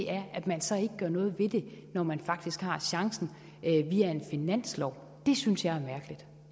er at man så ikke gør noget ved det når man faktisk har chancen via en finanslov det synes jeg